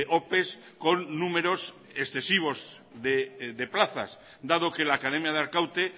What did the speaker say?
ope con números excesivos de plazas dado que la academia de arkaute